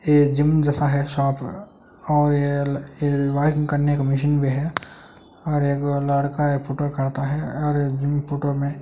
ये जिम जैसा है शॉप और ये व्यायाम करने का मशीन भी है और एक लड़का है फोटो काढ़ता है और जिम फोटो में --